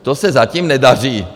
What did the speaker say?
To se zatím nedaří.